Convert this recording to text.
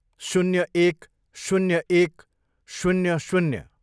शून्य एक, शून्य एक, शून्य, शून्य,